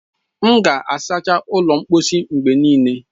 M ga-asacha ụlọ mposi mgbe niile.